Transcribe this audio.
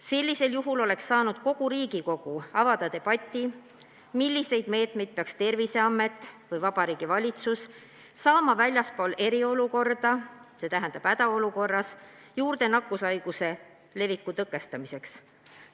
Sellisel juhul oleks saanud kogu Riigikogu avada debati, milliseid lisameetmeid peaks Terviseamet või Vabariigi Valitsus saama rakendada väljaspool eriolukorda, st hädaolukorras nakkushaiguse leviku tõkestamiseks.